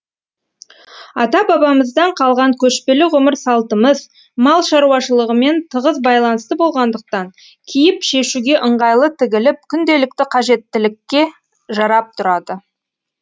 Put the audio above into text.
ата бабамыздан қалған көшпелі ғұмыр салтымыз мал шаруашылығымен тығыз байланысты болғандықтан киіп шешуге ыңғайлы тігіліп күнделікті қажеттілікке жарап тұрады